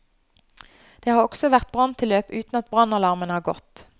Det har også vært branntilløp uten at brannalarmen har gått.